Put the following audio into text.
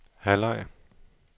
halvleg